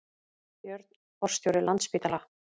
Björn forstjóri Landspítala